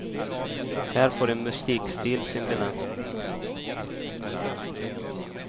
Här får en musikstil sin benämning.